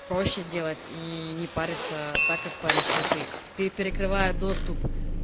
проще делать и не париться так как паришься ты ты перекрывает доступ